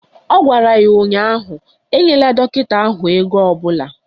Ọ gwara ya ụnyaahụ "Enyela dọkịta ahụ ego ọbụla"!